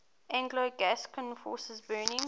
anglo gascon forces burning